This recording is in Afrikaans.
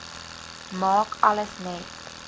maak alles net